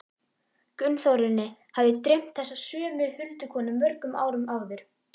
Gunnþórunni hafði dreymt þessa sömu huldukonu mörgum árum áður.